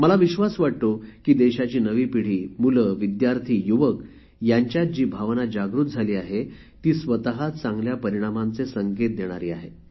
मला विश्वास वाटतो की देशाची नवी पिढी मुले विद्यार्थी युवक यांच्यात जी भावना जागृत झाली आहे ती स्वत चांगल्या परिणामांचे संकेत देणारी आहे